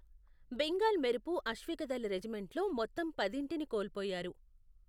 బెంగాల్ మెరుపు అశ్వికదళ రెజిమెంట్ల్లో మొత్తం పదింటిని కోల్పోయారు.